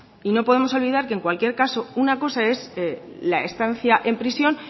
y no podemos olvidar que en cualquier caso una cosa es la estancia en prisión